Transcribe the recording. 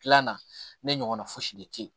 Tilan na ne ɲɔgɔnna fosi de tɛ ye